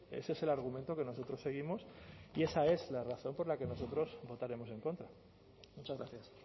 ese es el argumento que nosotros seguimos y esa es la razón por la que nosotros votaremos en contra muchas gracias